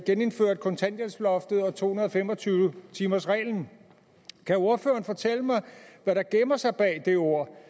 genindført kontanthjælpsloftet og to hundrede og fem og tyve timersreglen kan ordføreren fortælle mig hvad der gemmer sig bag det ord